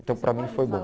Então para mim foi bom.